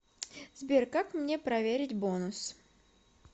сбер как мне проверить бонус